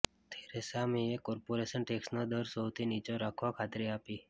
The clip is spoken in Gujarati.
થેરેસા મેએ કોર્પોરેશન ટેક્સનો દર સૌથી નીચો રાખવા ખાતરી આપી